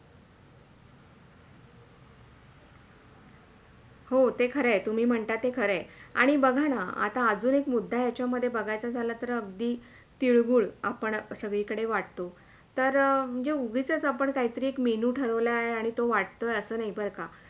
हो, ते खरंय तुम्ही म्हणता ते खरंय आणि बघा ना आता आजून एक मुद्दा याच्यामधे बघायचा झाला तर अगदी तिळगूळ आपण सगळीकडे वाटतो तर उगीचच आपण काही तरी एक Menu ठरवला आहे आणि तो वाटतोय असं नाही बरं का